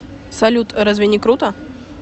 салют разве не круто